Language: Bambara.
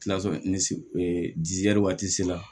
waati la